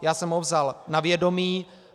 Já jsem ho vzal na vědomí.